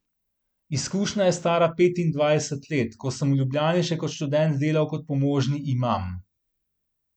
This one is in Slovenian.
Izkušnja je stara petindvajset let, ko sem v Ljubljani še kot študent delal kot pomožni imam.